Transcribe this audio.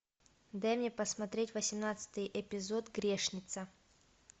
дай мне посмотреть восемнадцатый эпизод грешница